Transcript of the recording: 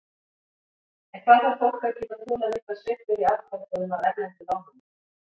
En hvað þarf fólk að geta þolað miklar sveiflur í afborgunum af erlendu lánunum?